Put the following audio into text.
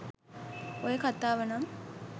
ඔය කතාව නම්